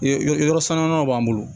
Yen yɔrɔ sannunnaman b'an bolo